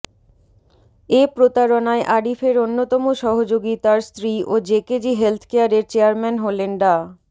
এ প্রতারণায় আরিফের অন্যতম সহযোগী তার স্ত্রী ও জেকেজি হেলথকেয়ারের চেয়ারম্যান হলেন ডা